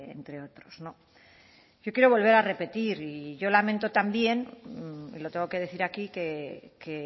entre otros yo quiero volver a repetir y yo lamento también y lo tengo que decir aquí que